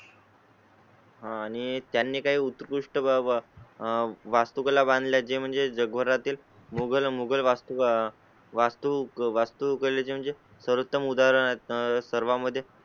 हां आणि त्यांनी काही उत्कृष्ट बाबा आह वास्तुकला बांधल्या जे म्हणजे जगभरातील मुगल मुघल वास्तु का वास्तू वास्तू केले ते म्हणजे सर्वोत्तम उदाहरण आहे. सर्वा मध्ये